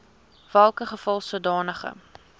welke geval sodanige